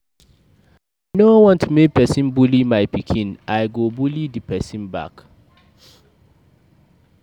I no wan make person bully my pikin, I go bully the person back.